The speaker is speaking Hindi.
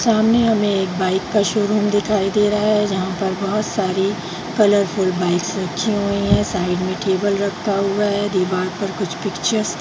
सामने हमें एक बाइक का शोरूम दिखाई दे रहा है जहाँ पर बहुत सारी कलरफुल बाइक्स रखी हुई है साइड में टेबल रखा हुआ है दिवार पर कुछ पिक्चर्स --